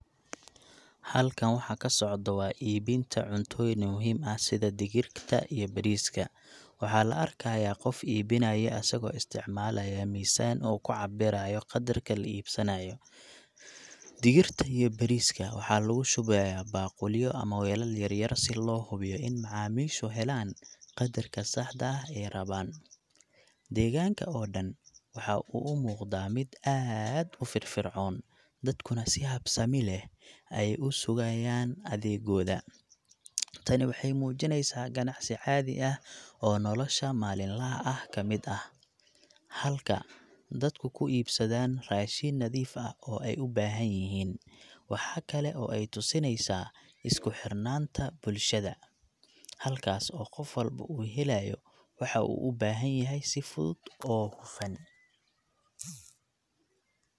Halkaan waxa ka socda waa iibinta cuntooyin muhiim ah sida digirta iyo bariiska. Waxaa la arkayaa qof iibinaya asagoo isticmaalaya miisaan uu ku cabbirayo qadarka la iibsanayo. Digirta iyo bariiska waxa lagu shubayaa baaquliyo ama weelal yaryar si loo hubiyo in macaamiishu helaan qadarka saxda ah ay rabaan. Deegaanka oo dhan waxa uu u muuqdaa mid aad u firfircoon, dadkuna si habsami leh ayay u sugayaan adeeggooda. Tani waxay muujinaysaa ganacsi caadi ah oo nolosha maalinlaha ah ka mid ah, halka dadku ku iibsadaan raashin nadiif ah oo ay u baahan yihiin. Waxa kale oo ay tusinaysaa isku xirnaanta bulshada, halkaas oo qof walba uu helayo waxa uu u baahan yahay si fudud oo hufan.